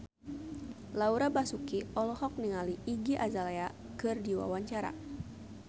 Laura Basuki olohok ningali Iggy Azalea keur diwawancara